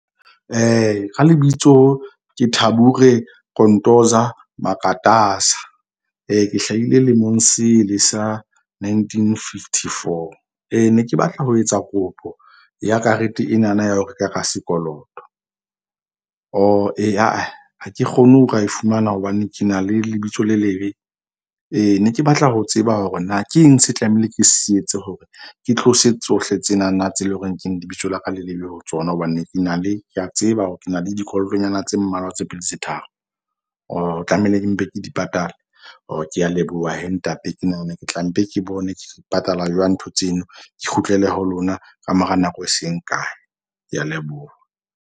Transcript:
Ka lebitso ke Thabure Kontoza Makatasa. Ke hlahile lemong sele sa nineteen fifty four. Ne ke batla ho etsa kopo ya karete enana ya ho reka ka sekoloto. Ha ke kgone ho ka e fumana hobane ke na le lebitso le lebe. Ee ne ke batla ho tseba hore na ke eng se tlamehile ke se etse hore ke tlose tsohle tsena na tse leng hore ke lebitso la ka le lebe ho tsona. Hobane ke na le ke a tseba hore ke na le dikolotonyana tse mmalwa tse pedi tse tharo. Tlamehile ke mpe ke di patale ke a leboha ntate. Ke nahana ke tla mpe, ke bone ke di patala jwang ntho tseno ke kgutlele ho lona ka mora nako e seng kae. Ke a leboha.